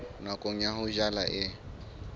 nako ya ho jala e